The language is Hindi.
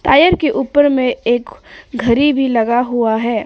टायर के ऊपर में एक घरी भी लगा हुआ है।